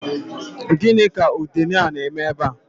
Gịnị ka udene a na-eme ebea?